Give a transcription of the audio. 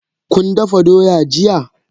Kun dafa doya jiya?